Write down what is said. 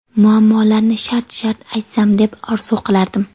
muammolarni shart shart aytsam deb orzu qilardim.